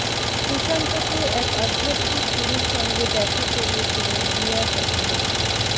সুশান্তকে এক আধ্যাত্মিক গুরুর সঙ্গে দেখা করিয়েছিলেন রিয়া চক্রবর্তী